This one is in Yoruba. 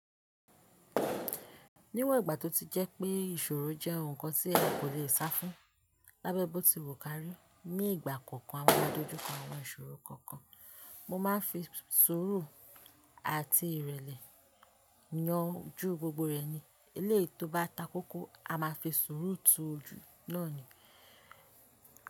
Níwọ̀n ìgbà tó ti jẹ́ pé ìṣòro jẹ́ ohun kan tí ẹ kò lè sá fún lábẹ́ bó ti wù kárí, ní ìgbà kọ̀ọ̀kan a máa dojú kọ àwọn ìṣòro kọ̀ọ̀kan. Mo máa ń fi sùúrù àti ìrẹ̀lẹ̀ yan ju gbogbo rẹ̀ ni eléyìí tó bá takókó, a máa fi sùúrù tu ojú náà ni.